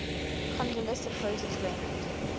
kondylis opposes raymond